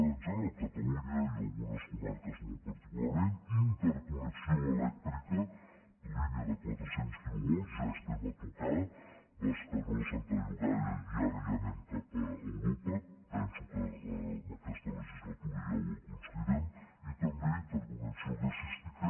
en general catalunya i algunes comarques molt particularment interconnexió elèctrica línia de quatre cents quilovolts ja hi estem a tocar bescanó santa llogaia i ara ja anem cap a europa penso que en aquesta legislatura ja ho aconseguirem i també interconnexió gasística